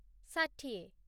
ଷାଠିଏ